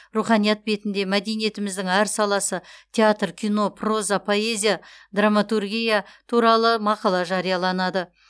руханият бетінде мәдениетіміздің әр саласы театр кино проза поэзия драматургия туралы мақала жарияланады